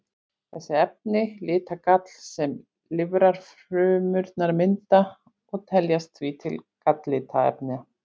Þessi efni lita gall sem lifrarfrumurnar mynda og teljast því til galllitarefna.